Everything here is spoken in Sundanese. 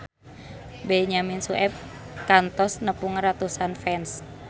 Benyamin Sueb kantos nepungan ratusan fans